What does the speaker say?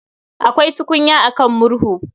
Akwai tukunya a kan murhu